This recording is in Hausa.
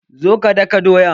Zo ka daka doyan!